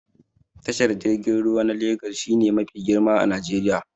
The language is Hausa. Tashar jirgin ruwa na Legas shi ne mafi girma a Najeriya